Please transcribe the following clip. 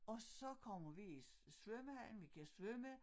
Og så kommer vi i svømmehallen vi kan svømme